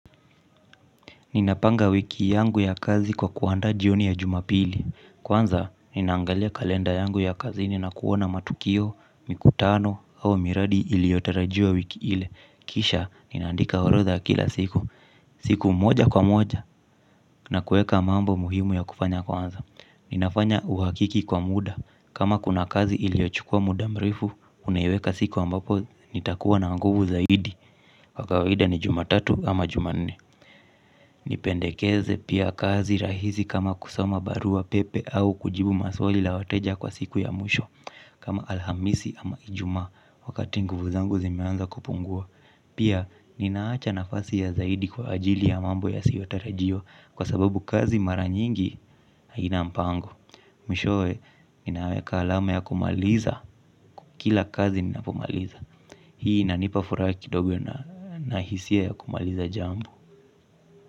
Ninapanga wiki yangu ya kazi kwa kuandaa jioni ya jumapili. Kwanza, ninaangalia kalenda yangu ya kazini na kuona matukio, mikutano, au miradi iliyotarajiwa wiki ile. Kisha, ninaandika orodha ya kila siku. Siku moja kwa moja na kueka mambo muhimu ya kufanya kwanza ninafanya uhakiki kwa muda kama kuna kazi iliyochukua muda mrefu unaiweka siku ambayo nitakua na nguvu zaidi kwa kawaida ni jumatatu ama jumanne. Nipendekeze pia kazi rahisi kama kusoma barua pepe au kujibu maswali la wateja kwa siku ya mwisho kama alhamisi ama ijuma wakati nguvu zangu zimeanza kupungua pia ninaacha nafasi ya zaidi kwa ajili ya mambo yasiyotarajiwa kwa sababu kazi mara nyingi haina mpango mwishowe ninaweka alama ya kumaliza kila kazi ninapomaliza hii inanipa furaha kidogo na hisia ya kumaliza jambo.